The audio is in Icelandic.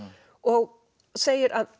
og segir að